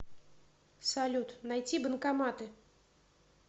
салют найти банкоматы